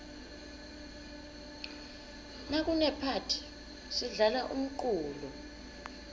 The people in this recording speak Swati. nakunephathi sidlala umculo